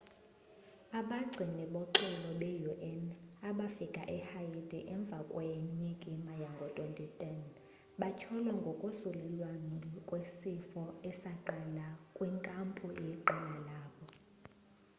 abagcini boxolo be-un abafike e-haiti emva kwenyikima yango-2010 batyholwa ngokosulelwano kwesifo esaqala ngakwinkampu yeqela labo